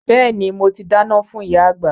Bẹ́ẹ̀ni mo ti dáná fún ìyá àgbà